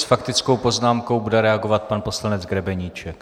S faktickou poznámkou bude reagovat pan poslanec Grebeníček.